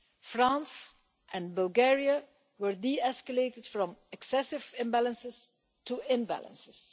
France and Bulgaria were de-escalated from excessive imbalances to imbalances.